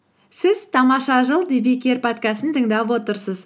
сіз тамаша жыл подкастын тыңдап отырсыз